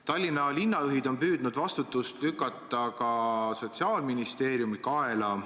Tallinna linnajuhid on püüdnud vastutust lükata ka Sotsiaalministeeriumi kaela.